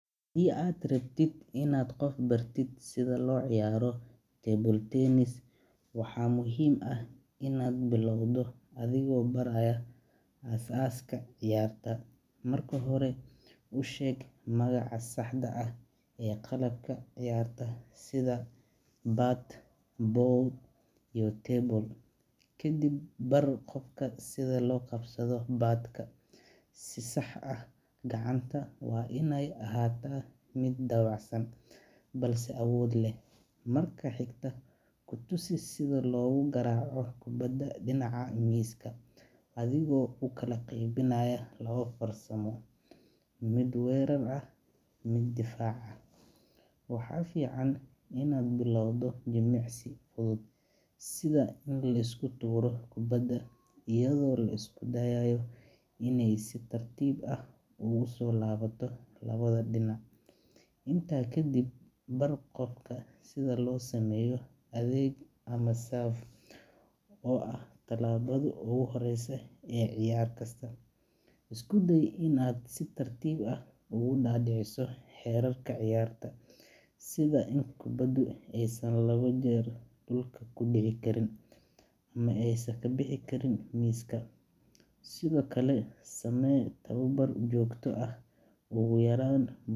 Haddii aad rabto inaad qof bartid sida loo ciyaaro table tennis, waxaa muhiim ah inaad bilowdo adigoo baraya aasaaska ciyaarta. Marka hore, u sheeg magaca saxda ah ee qalabka ciyaarta sida bat, ball, iyo table. Kadib, bar qofka sida loo qabsado bat-ka si sax ah – gacanta waa iney ahaataa mid dabacsan, balse awood leh. Marka xigta, ku tusi sida loogu garaaco kubadda dhinaca miiska adigoo u kala qaybinaya laba farsamo: mid weerar ah iyo mid difaac ah. Waxaa fiican inaad u bilowdo jimicsi fudud, sida in la isku tuuro kubadda iyadoo la isku dayayo iney si tartiib ah ugu soo laabato labada dhinac. Intaa kadib, bar qofka sida loo sameeyo adeeg ama serve, oo ah tallaabada ugu horreysa ee ciyaar kasta. Isku day inaad si tartiib ah uga dhaadhiciso xeerarka ciyaarta, sida in kubaddu aysan laba jeer dhulka ku dhici karin ama aysan ka bixi karin miiska. Sidoo kale, samee tababar joogto ah, ugu yaraan.